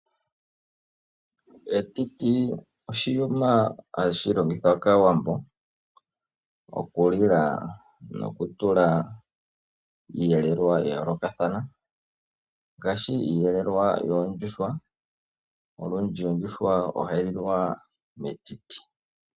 Etiti oshiyuma hashi longithwa kaawambo oku li la noku tulwako iiyelelwa ya yoolokathana, ngaashi iiyelelwa yoondjuhwa, olundji ondjuhwa ohayi lilwa metiti.